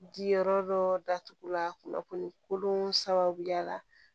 Di yɔrɔ dɔ datugu la kunnafoni kolon sababuya la